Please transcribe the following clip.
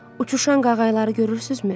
Uçuşan qağayıları görürsünüzmü?